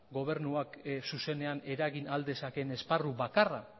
gobernuak zuzenean eragin ahal dezaken esparru bakarra